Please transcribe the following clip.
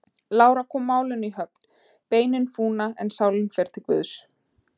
Lára kom málinu í höfn: Beinin fúna, en sálin fer til Guðs.